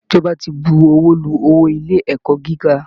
Ìjọba ti buwọ́lu owó ilé ẹ̀kọ́ gíga